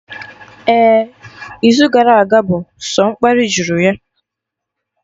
Ehhh, izu gara aga bụ sọ mkparị juru ya